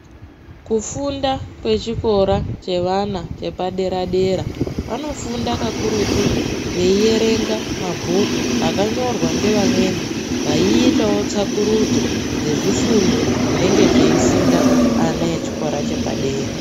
Kufunda kwechikora chevana chepadera-dera, vanofunda kakurutu veiverenga mabhuku akanyorwa ngevamweni. Vaiitavo tsvakurudzo dzezvifundo zvinenge zveifunda ana echikora chepadera.